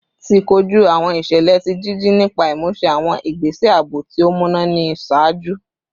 Ti koju awọn iṣẹlẹ ti jiji nipa imuse awọn igbese aabo ti o muna ni iṣaaju